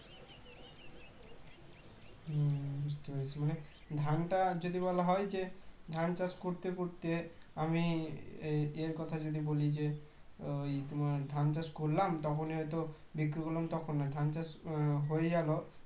বুঝতে পেরেছি মানে ধানটা যদি বলা হয় যে ধান চাষ করতে করতে আমি এর এর কথা যদি বলি যে ওই তোমার ধান চাষ করলাম তখনই হয়তো বিক্রি করলাম তখন নয় ধান চাষ হয়ে গেল